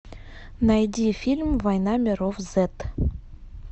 найди фильм война миров зет